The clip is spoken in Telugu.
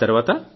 ఆ తర్వాత